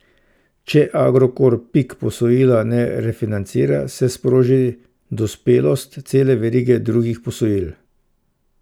Če Agrokor Pik posojila ne refinancira, se sproži dospelost cele verige drugih posojil.